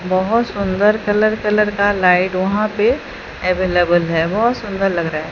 बहोत सुंदर colour colour का लाइट वहां पे अवेलेबल है बहोत सुंदर लग रहा है।